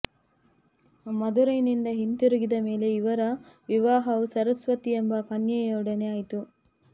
ಮಧುರೈನಿಂದ ಹಿಂತಿರುಗಿದ ಮೇಲೆ ಇವರ ವಿವಾಹವು ಸರಸ್ವತಿ ಎಂಬ ಕನ್ಯೆಯೊಡನೆ ಆಯಿತು